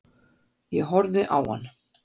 Ég horfði á hann.